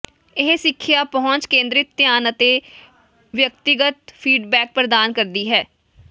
ਇਹ ਸਿੱਖਿਆ ਪਹੁੰਚ ਕੇਂਦਰਿਤ ਧਿਆਨ ਅਤੇ ਵਿਅਕਤੀਗਤ ਫੀਡਬੈਕ ਪ੍ਰਦਾਨ ਕਰਦੀ ਹੈ